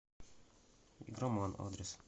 игроман адрес